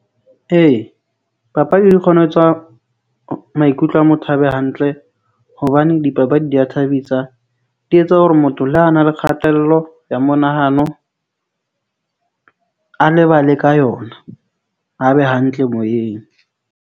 Ee, papadi di kgona ho etswa maikutlo a motho a be hantle hobane dipapadi di ya thabisa. Di etsa hore motho le ha a na le kgatello ya monahano , a lebale ka yona, a be hantle moyeng.